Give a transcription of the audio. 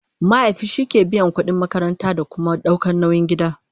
mahaifi shike biyan ƙudin makaranta da Kuma ɗaukan nauyin gida